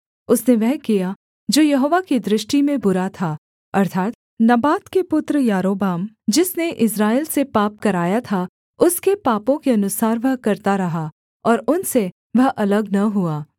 उसने वह किया जो यहोवा की दृष्टि में बुरा था अर्थात् नबात के पुत्र यारोबाम जिसने इस्राएल से पाप कराया था उसके पापों के अनुसार वह करता रहा और उनसे वह अलग न हुआ